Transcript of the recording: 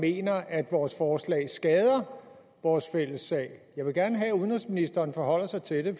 mener at vores forslag skader vores fælles sag jeg vil gerne have at udenrigsministeren forholder sig til det